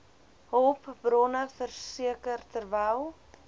hulpbronne verseker terwyl